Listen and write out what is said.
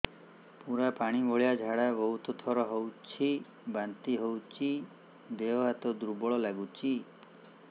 ପୁରା ପାଣି ଭଳିଆ ଝାଡା ବହୁତ ଥର ହଉଛି ବାନ୍ତି ହଉଚି ଦେହ ହାତ ଦୁର୍ବଳ ଲାଗୁଚି